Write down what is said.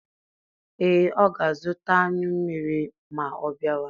Ee, ọ ga-azụta anyụ mmiri ma ọ bịawa.